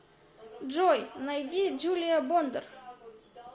джой найди джулия бондар